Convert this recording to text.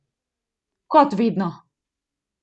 Kot vedno!